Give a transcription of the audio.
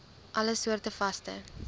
alle soorte vaste